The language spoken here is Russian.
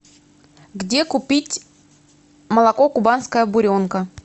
где купить молоко кубанская буренка